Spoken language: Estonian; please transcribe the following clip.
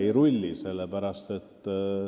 Ei rulli!